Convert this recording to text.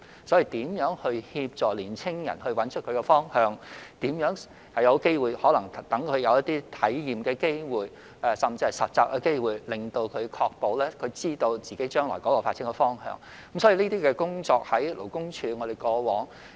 因此，若要協助年青人找到方向，就要讓他們有體驗或實習的機會，確保他們知道自己將來的發展方向，勞工處在過往也有進行這些工作。